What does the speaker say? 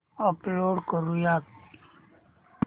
upload करुयात